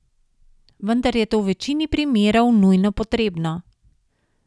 Vendar je to v večini primerov nujno potrebno.